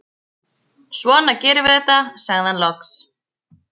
Svona gerum við þetta, sagði hann loks.